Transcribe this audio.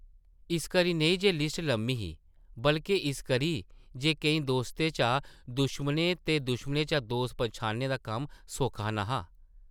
इस करी नेईं जे लिस्ट लम्मी ही बल्के इस करी जे केईं दोस्तें चा दुश्मन ते दुश्मनें चा दोस्त पन्छानने दा कम्म सौखा न’हा ।